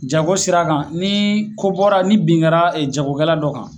Jago sira kan ni ko bɔra ni bin kɛra jagokɛla dɔ kan